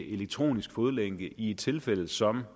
elektronisk fodlænke i et tilfælde som